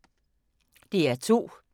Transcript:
DR2